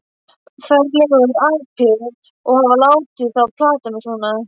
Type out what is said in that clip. Ferlegur api að hafa látið þá plata mig svona.